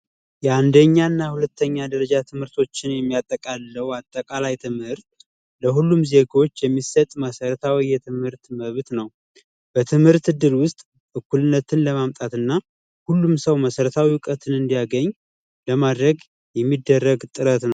የአንደኛ እና ሀለተኛ ትምህርቶችን የሚያጠቃልለው አጠቀላይ ትምህርት ለሁሉም ዜጎች የሚሰጥ መሰረታዊ የትምህርት መብት ነው። በትምህርት እድል ውስጥ እኩልነትን ለማምጣት እና ሁሉም ሰው መሰረታዊ እውቀትን እንዲያገኝ የሚደረግ ጥረት ነው።